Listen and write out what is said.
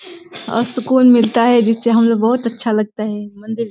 आ सुकून मिलता है जिससे हम लोग बहोत अच्छा लगता है। मंदिर जा --